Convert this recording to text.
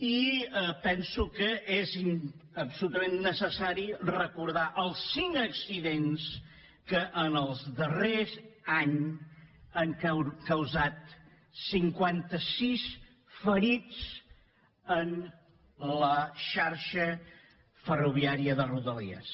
i penso que és absolutament necessari recordar els cinc accidents que en el darrer any han causat cinquanta sis ferits en la xarxa ferroviària de rodalies